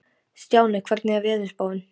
Stjáni, hvernig er veðurspáin?